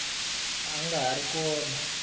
a a nga ri kona